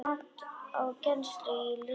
Mat á kennslu í listum